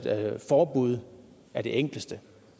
forbud er det enkleste